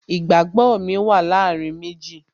Ìgbàgbó mi wà láàárín méjì